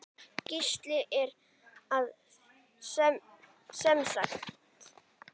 Gísli: Er það semsagt.